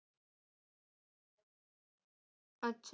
अच्छा.